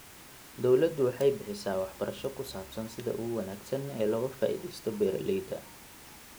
Dawladdu waxay bixisaa waxbarasho ku saabsan sida ugu wanaagsan ee looga faa'iidaysto beeralayda.